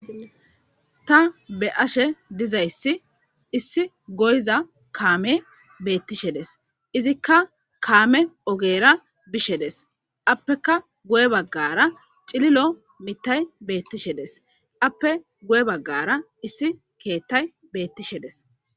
Ta be'ashe dizayssi issi goyiza kaame beettishe dees izikka kaame oogera bishe dees appeka guye baggara cillillo miittay beettishe dees appe guye baggara issi keettay beettishe dees